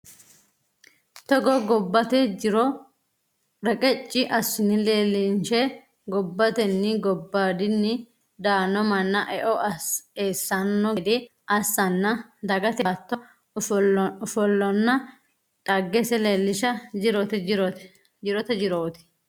Togo gobbate jiro reqeci assine leelnshe gobbateni gobbadini daano manna eo eessano gede assanna dagate baatto ofollonna dhaggese leellisha jirote jiroti.